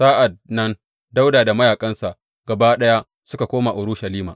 Sa’an nan Dawuda da mayaƙansa gaba ɗaya suka koma Urushalima.